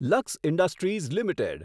luck industries limited